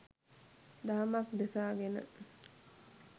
දහමක් දෙසා ගෙන